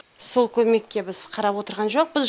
сол көмекке біз қарап отырған жоқпыз